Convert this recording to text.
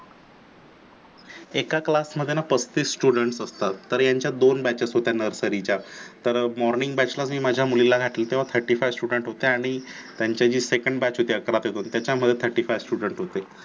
एका class मध्ये ना पस्तीस students असतात. तर ह्यांच्या दोन batches होत्या nursary च्या तर morning batch ला माझ्या मुलीला घातलं तेव्हा thirty five student होते आणि ते जे second batch होती आकरा ते दोन त्याच्या मध्ये thirty five student होते.